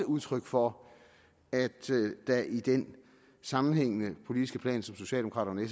udtryk for at der i den sammenhængende politiske plan som socialdemokraterne